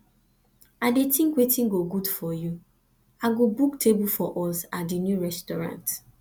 i dey think wetin go good for you i go book table for us at di new restaurant